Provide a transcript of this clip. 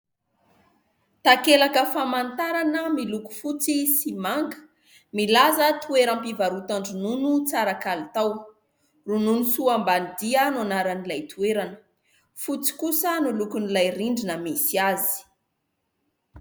Takelaka famantarana miloko fotsy sy manga milaza toeram-pivarotan-dronono tsara kalitao "Ronono soa Ambanidia" no anaran'ilay toerana, fotsy kosa no lokon'ilay rindrina misy azy.